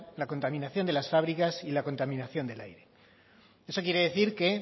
la contaminación de las fábricas y la contaminación del aire eso quiere decir que